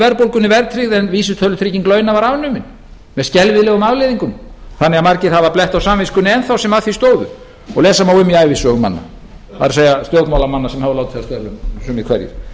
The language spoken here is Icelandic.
verðbólgunni verðtryggð en vísitölutrygging launa var afnumið með skelfilegum afleiðingum þannig að margir hafa blett á samviskunni enn þá sem að því stóðu og lesa má um í ævisögum manna það er stjórnmálamanna sem hafa látið af störfum sumir hverjir